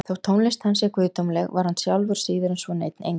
þótt tónlist hans sé guðdómleg var hann sjálfur síður en svo neinn engill